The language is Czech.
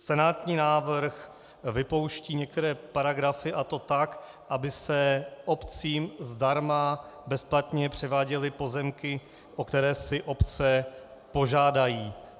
Senátní návrh vypouští některé paragrafy, a to tak, aby se obcím zdarma bezplatně převáděly pozemky, o které si obce požádají.